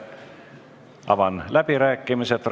Avan fraktsioonide läbirääkimised.